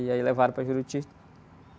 E aí levaram para Juruti.